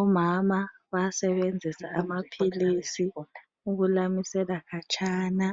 Omama bayasebenzisa amaphilisi ukulamisela khatshana